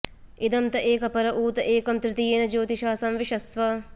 इ॒दं त॒ एकं॑ प॒र ऊ॑ त॒ एकं॑ तृ॒तीये॑न॒ ज्योति॑षा॒ संवि॑शस्व